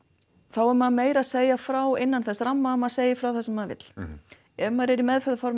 þá er maður meira að segja frá innan þessa ramma að maður segir frá því sem maður vill ef maður er